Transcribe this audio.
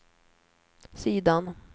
sidan